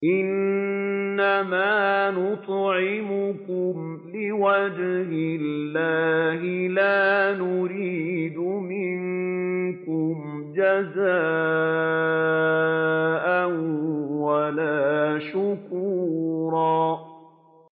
إِنَّمَا نُطْعِمُكُمْ لِوَجْهِ اللَّهِ لَا نُرِيدُ مِنكُمْ جَزَاءً وَلَا شُكُورًا